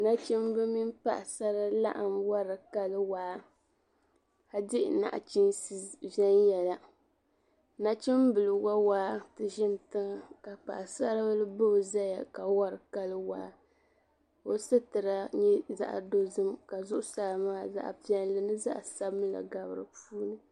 Nachimba mini paɣisara laɣim wari kali waa ka di nachiinsi viɛnyɛla. Nachimbila wa waa nti ʒini tiŋa ka paɣisaribila ba o zaya ka wari kali waa. O sitira nyɛ zaɣ' dozim ka zuɣusaa maa zaɣ' piɛlli ni zaɣ' sabilinli gabi di puuni.